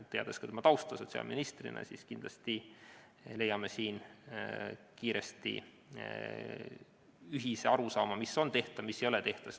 Teades ka tema kui sotsiaalministri tausta, usun, et kindlasti me leiame siin kiiresti ühise arusaama, mis on tehtav ja mis ei ole tehtav.